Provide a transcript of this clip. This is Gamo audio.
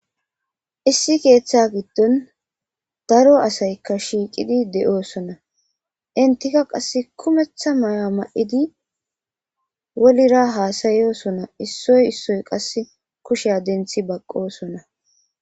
Issi keeththa giddon daro asaykka shiiqidi de'oosona intika qasse kumetha may'a ma'idi wolira haasayoosona issoy issoy qasse kushea denthi baqqosona.